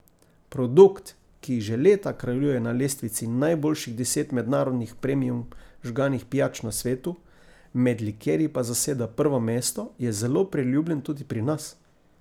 Produkt, ki že leta kraljuje na lestvici najboljših deset mednarodnih premium žganih pijač na svetu, med likerji pa zaseda prvo mesto, je zelo priljubljen tudi pri nas.